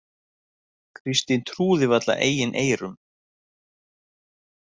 Kristín trúði varla eigin eyrum.